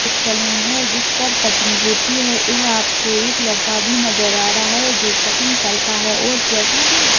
एक सलून है जिसपे कटिंग होती है। यहाँ कोई एक लड़का भी नज़र आ रहा है जो कटिंग करता है और --